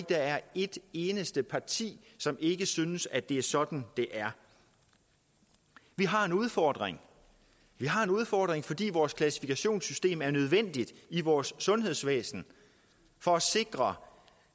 der er et eneste parti som ikke synes at det er sådan det er vi har en udfordring vi har en udfordring fordi vores klassifikationssystem er nødvendigt i vores sundhedsvæsen for at sikre